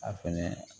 A fɛnɛ